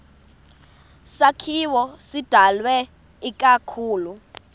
sakhiwo sidalwe ikakhulu